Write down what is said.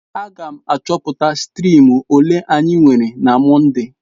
Aga m achọpụta striim ole anyị nwere na Mọnde.